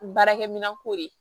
Baarakɛminɛn ko de ye